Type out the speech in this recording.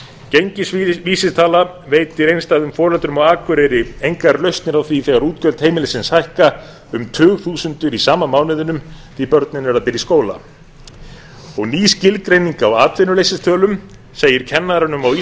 gengisvísitala veitir einstæðum foreldrum á akureyri engar lausnir á því þegar útgjöld heimilisins hækka um tugþúsundir á sama mánuðinum því börnin eru að byrja í skóla og ný skilgreining á atvinnuleysistölum segir kennaranum á